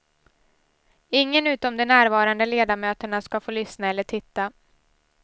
Ingen utom de närvarande ledamöterna ska få lyssna eller titta.